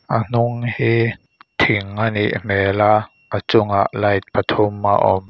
a hnung hi thing a nih hmel a a chungah light pathum a awm.